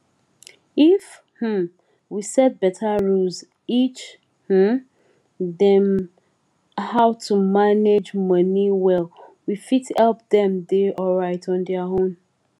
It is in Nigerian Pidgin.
if um we set beta rules each um dem how to manage money well we fit help dem dey alright on their own